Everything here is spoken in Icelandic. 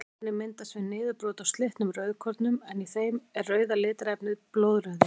Þetta efni myndast við niðurbrot á slitnum rauðkornum en í þeim er rauða litarefnið blóðrauði.